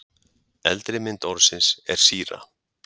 eldri mynd orðsins er síra